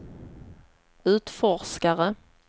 utforskare